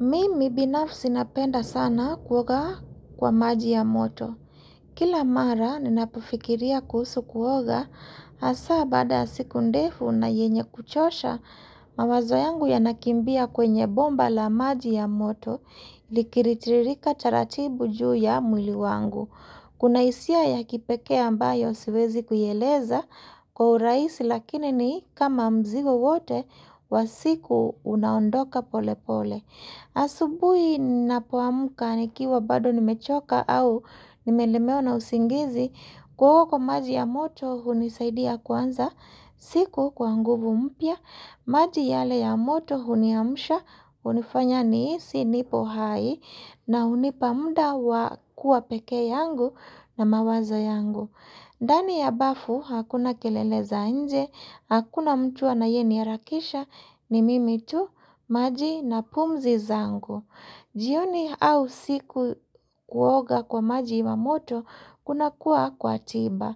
Mimi binafsi napenda sana kuoga kwa maji ya moto. Kila mara ninapofikiria kuhusu kuoga, hasa baada siku ndefu na yenye kuchosha, mawazo yangu yanakimbia kwenye bomba la maji ya moto likilitiririka taratibu juu ya mwili wangu. Kuna hisia ya kipekee ambayo siwezi kuieleza kwa urahisi lakini ni kama mzigo wote wa siku unaondoka pole pole. Asubui napoamka nikiwa bado nimechoka au nimelemewa na usingizi Kuoga kwa maji ya moto hunisaidia kwanza siku kwa nguvu mpya maji yale ya moto huniamsha hunifanya nihisi nipo hai na hunipa muda wa kuwa peke yangu na mawazo yangu ndani ya bafu hakuna kelele za nje Hakuna mtu anayeniharakisha ni mimi tu, maji na pumzi zangu jioni au usiku kuoga kwa maji ya moto kuna kuwa kwa tiba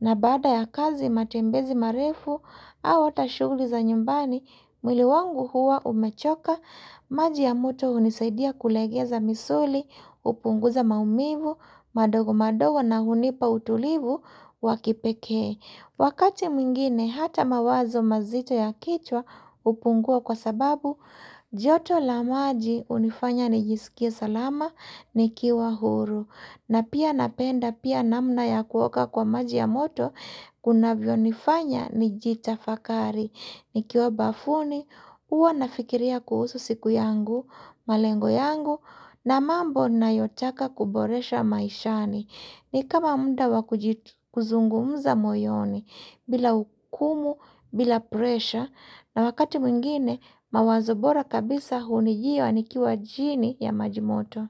na baada ya kazi matembezi marefu au hata shughuli za nyumbani mwili wangu huwa umechoka, maji ya moto hunisaidia kulegeza misuli hupunguza maumivu, madogo madogo na hunipa utulivu wa kipekee Wakati mwingine hata mawazo mazito ya kichwa hupungua kwa sababu, joto la maji hunifanya nijisikie salama nikiwa huru. Na pia napenda pia namna ya kuoga kwa maji ya moto, kunavyo nifanya nijitafakari. Nikiwa bafuni, huwa nafikiria kuhusu siku yangu, malengo yangu, na mambo nayotaka kuboresha maishani. Ni kama muda wakuzungumza moyoni bila hukumu bila presha na wakati mwingine mawazo bora kabisa hunijia nikiwa chini ya majimoto.